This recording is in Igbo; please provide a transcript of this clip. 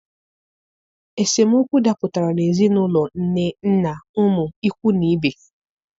Esemokwu dapụtara n'ezinaụlọ nne, nna, ụmụ, ikwu na ibe.